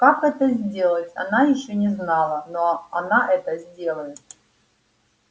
как это сделать она ещё не знала но она это сделает